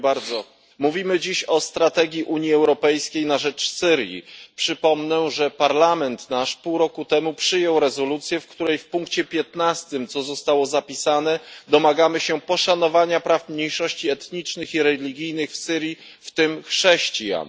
Panie Przewodniczący! Mówimy dziś o strategii Unii Europejskiej na rzecz Syrii. Przypomnę, że Parlament pół roku temu przyjął rezolucję, w której w punkcie piętnastym, co zostało zapisane, domagamy się poszanowania praw mniejszości etnicznych i religijnych w Syrii, w tym chrześcijan.